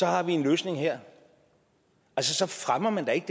har vi en løsning her så fremmer man da ikke